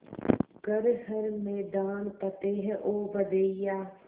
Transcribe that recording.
कर हर मैदान फ़तेह ओ बंदेया